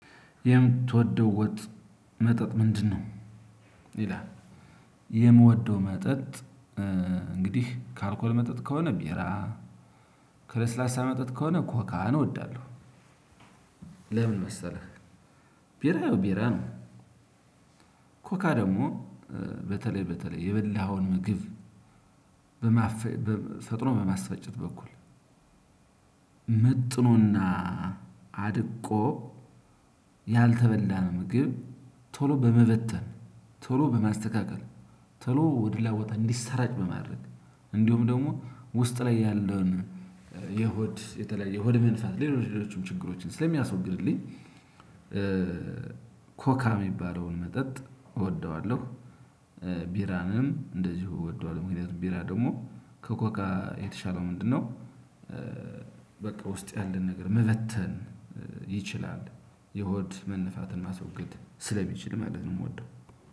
የምትወደው ወጥ መጠጥ ምንድነው? ይላል። የምወደው መጠጥ እንግዲህ ከአልኮል መጠጥ ከሆነ ቢራ። ከለስላሳ መጠጥ ከሆነ ኮካህን እወዳለሁ። ለምን መሰለህ? ቢራ ቢራ ነው። ኮካ ደግሞ በተለይ በተለይ የበላኸውን ምግብ በማፍ ፈጥኖ በማስፈጨት በኩል መጥኖና አድቆ ያልተበላነ ምግብ ቶሎ በመበተን ቶሎ በማስተካከል ቶሎ ወደ ሌላ ቦታ እንዲሰራጭ በማድረግ እንዲሁም ደግሞ ውስጥ ላይ ያለውን የሆድ የተለያየ የሆድ መንፋት ሌሎች ሌሎችም ችግሮችን ስለሚያስወግድልኝ። ኮካ የሚባለውን መጠጥ እወደዋለሁ። ቢራንም እንደዚሁ እወደዋለሁ ምክንያቱም ቢራ ደግሞ ከኮካ የተሻለው ምንድነው? በቃ ውስጥ ያለን ነገር መበተን ይችላል የሆድ መንፋትን ማስወገድ ስለሚችል ማለት ነው። የምወደው